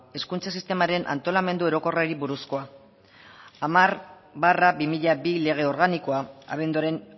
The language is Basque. hezkuntza sistemaren antolamendu orokorrari buruzkoa hamar barra bi mila bi lege organikoa abenduaren